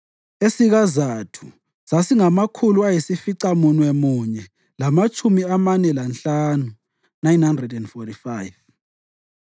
esikaZathu sasingamakhulu ayisificamunwemunye lamatshumi amane lanhlanu (945),